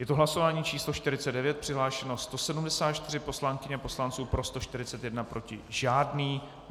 Je to hlasování číslo 49, přihlášeno 174 poslankyň a poslanců, pro 141, proti žádný.